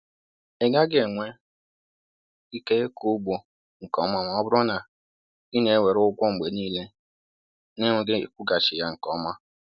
Ị gaghị enwe ike ịkụ ugbo nke ọma ma ọ bụrụ na ị na-ewere ụgwọ mgbe niile na-enweghị ịkwụghachi ya nke ọma